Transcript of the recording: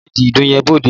Gbé bẹ́ẹ̀dì ìdun yẹn bóóde!